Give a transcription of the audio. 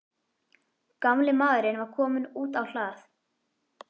Gamli maðurinn var kominn út á hlað.